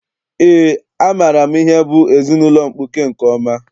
Eé, amaara m ihe bụ ezinaụlọ mkpuke nke ọma.